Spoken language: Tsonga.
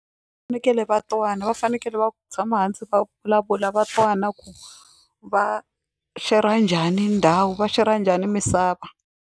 Fanekele va twana va fanekele va tshama hansi va vulavula va twana ku va shera njhani ndhawu va shera njhani misava.